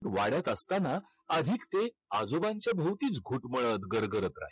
वाड्यात असताना अधिक ते आजोबांचे भोवतीच घुटमळत गरगरत राही.